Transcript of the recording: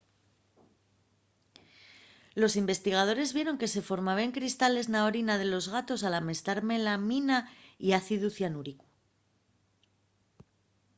los investigadores vieron que se formaben cristales na orina de los gatos al amestar melamina y ácidu cianúrico